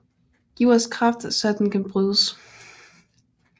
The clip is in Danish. Giv os kraft så den kan brydes